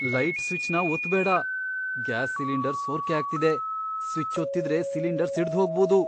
Light ಸ್ವಿಚ್ನ ಒತ್ತ್ಬೇಡ. Gas cylinder ಸೋರ್ಕೆ ಆಗ್ತಿದೆ, ಸ್ವಿಚ್ ಒತ್ತಿದ್ರೆ ಸಿಲಿಂಡರ್ ಸಿಡ್ದ್ಹೋಗ್ಬೋದು.